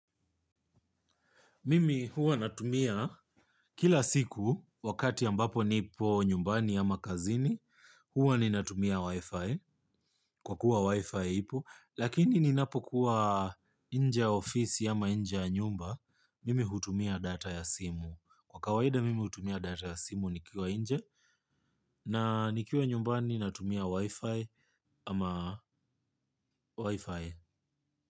Mimi huwa natumia kila siku wakati ambapo nipo nyumbani ama kazini huwa ninatumia wifi kwa kuwa wifi ipo lakini ninapo kuwa inje ya ofisi ama inje ya nyumba mimi hutumia data ya simu kwa kawaida mimi hutumia data ya simu nikiwa inje na nikiwa nyumbani natumia wifi ama wifi.